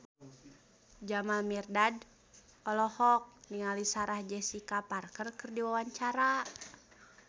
Jamal Mirdad olohok ningali Sarah Jessica Parker keur diwawancara